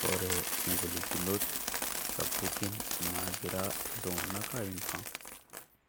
Kore ngolikinot sapukin nagiraa iltung'anak aimaa